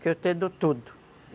que eu te dou tudo